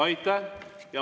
Aitäh!